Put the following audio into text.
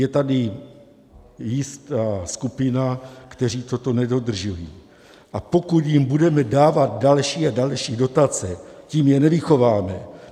Je tady jistá skupina, kteří toto nedodržují, a pokud jim budeme dávat další a další dotace, tím je nevychováme.